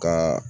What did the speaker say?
Ka